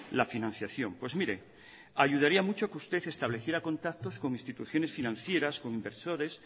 la financiación pues mire ayudaría mucho que usted estableciera contactos con instituciones financieras con inversores